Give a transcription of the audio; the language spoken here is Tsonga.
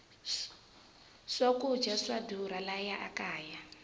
swakudya swa durha laha kaya